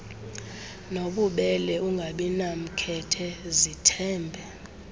nobubele ungabinamkhethe zithembe